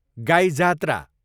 गाई जात्रा